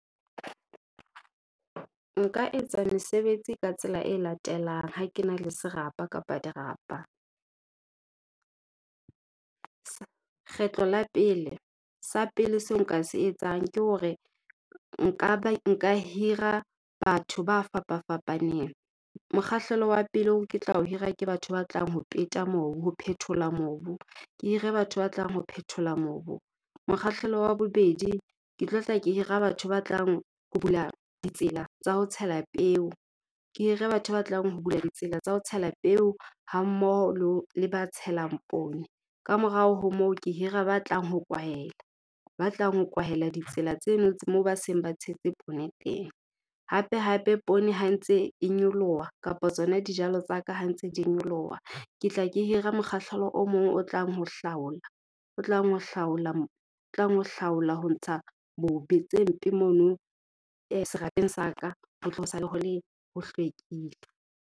Nka etsa mesebetsi ka tsela e latelang ha ke na le serapa kapa dirapa. Kgetlo la pele, sa pele seo nka se etsang ke hore nka hira batho ba fapa-fapaneng. Mokgahlelo wa pele oo ke tla ho hira ke batho ba tlang ho peta mobu, ho phethola mobu, ke hire batho ba tlang ho phethola mobu. Mokgahlelo wa bobedi, ke tlo tla ke hira batho ba tlang ho bula ditsela tsa ho tshela peo, ke hire batho ba tlang ho bula ditsela tsa ho tshela peo hammoho le ba tshelang poone. Kamorao ho moo, ke hira ba tlang ho kwahela, ba tlang ho kwahela ditsela tseno moo ba seng ba tshetse poone teng. Hape-hape, poone ha ntse e nyoloha kapa tsona dijalo tsa ka ha ntse di nyoloha, ke tla ke hira mokgahlelo o mong o tlang ho hlaola, o tlang ho hlaola , o tlang ho hlaola ho ntsha tse mpe mono serapeng sa ka, o tlo sale ho le, ho hlwekile.